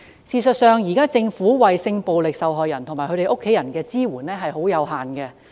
事實上，政府現時為性暴力受害人及其家人提供的支援極為有限。